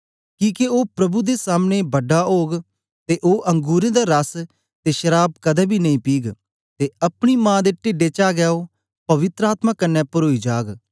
किके ओ प्रभु दे सामनें बड़ा ओग ते ओ अंगुरें दा रस ते शराव कदें बी नेई पीग ते अपनी मां दे टिढें चा गै ओ पवित्र आत्मा कन्ने परोई जाग